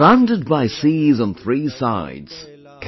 Surrounded by seas on three sides,